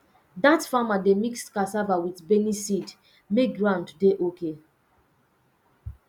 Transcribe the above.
dat farmer dey mix cassava with beniseed make ground dey okay